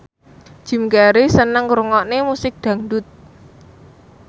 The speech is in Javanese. Jim Carey seneng ngrungokne musik dangdut